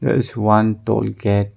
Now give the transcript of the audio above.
There is one toll gate.